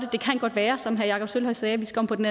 det kan godt være som herre jakob sølvhøj sagde at vi skal om på den